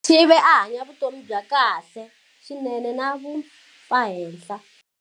Sithibe a hanya vutomi bya kahle swinene na vumpfahenhla.